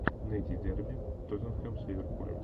найти дерби тоттенхэм с ливерпулем